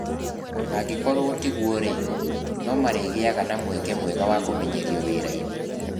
Angĩkorũo tiguo-rĩ, nĩ marĩgĩaga na mweke mwega wa kũmenyerio wĩra-inĩ.